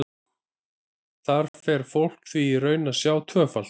Þar fer fólk því í raun að sjá tvöfalt.